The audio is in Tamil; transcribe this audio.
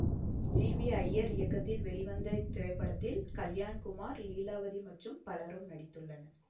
ஜி வி ஜயர் இயக்கத்தில் வெளிவந்த இத்திரைப்படத்தில் கல்யாண்குமார் லீலாவதி மற்றும் பலரும் நடித்துள்ளனர்